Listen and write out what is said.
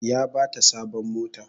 Ya bata sabon mota